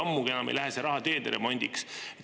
Ammugi enam ei lähe see raha teede remondiks.